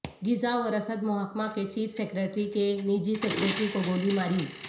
غذا و رسد محکمہ کے چیف سیکریٹری کے نجی سکریٹری کو گولی ماری